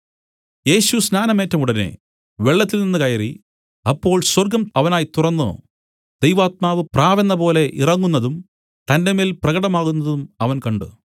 യേശു സ്നാനം ഏറ്റ ഉടനെ വെള്ളത്തിൽനിന്ന് കയറി അപ്പോൾ സ്വർഗ്ഗം അവനായി തുറന്നു ദൈവാത്മാവ് പ്രാവെന്നതുപോലെ ഇറങ്ങുന്നതും തന്റെമേൽ പ്രകടമാകുന്നതും അവൻ കണ്ട്